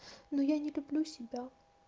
но я не люблю себя